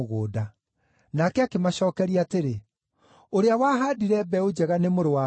Nake akĩmacookeria atĩrĩ, “Ũrĩa wahaandire mbeũ njega nĩ Mũrũ wa Mũndũ.